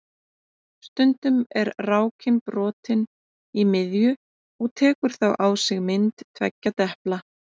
Stundum er rákin brotin í miðju og tekur þá á sig mynd tveggja depla.